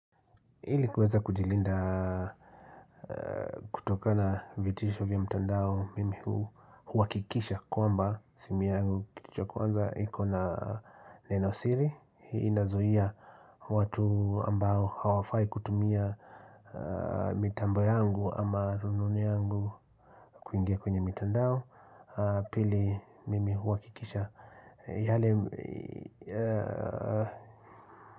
Hili kuweza kujilinda kutokana vitisho vya mtandao mimi huhakikisha kwamba simi yangu kitu cha kwanza ikona neno siri hii inazuia watu ambao hawafai kutumia mitambo yangu ama rununu yangu kuingia kwenye mitandao pili mimi huhakikisha yale.